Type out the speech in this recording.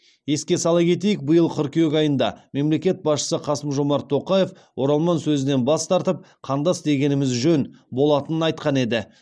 еске сала кетейік биыл қыркүйек айында мемлекет басшысы қасым жомарт тоқаев оралман сөзінен бас тартып қандас дегеніміз жөн болатынын айтқан еді